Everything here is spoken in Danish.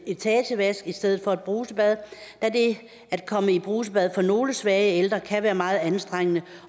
etagevask i stedet for et brusebad da det at komme i brusebad for nogle svage ældre kan være meget anstrengende